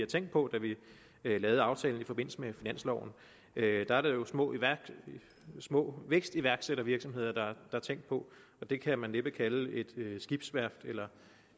tænkte på da vi lavede aftalen i forbindelse med finansloven da var det jo små små vækstiværksættervirksomheder der blev tænkt på og det kan man næppe kalde et skibsværft eller